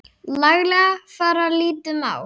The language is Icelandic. laglega fara lítið má.